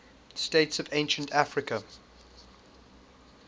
states of ancient africa